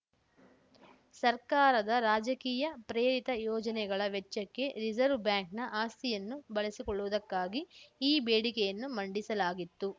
ಸರ್ಕಾರದ ರಾಜಕೀಯ ಪ್ರೇರಿತ ಯೋಜನೆಗಳ ವೆಚ್ಚಕ್ಕೆ ರಿಸರ್ವ್ ಬ್ಯಾಂಕ್‌ನ ಆಸ್ತಿಯನ್ನು ಬಳಸಿಕೊಳ್ಳುವುದಕ್ಕಾಗಿ ಈ ಬೇಡಿಕೆಯನ್ನು ಮಂಡಿಸಲಾಗಿತ್ತು